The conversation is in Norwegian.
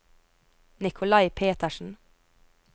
Nikolai Petersen